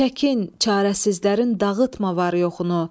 Çəkin, çarəsizlərin dağıtma var-yoxunu.